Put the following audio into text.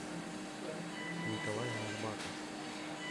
николай арбатов